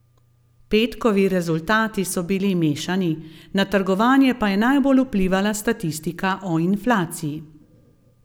Petkovi rezultati so bili mešani, na trgovanje pa je najbolj vplivala statistika o inflaciji.